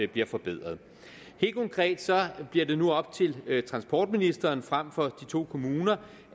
bliver forbedret helt konkret bliver det nu op til transportministeren frem for de to kommuner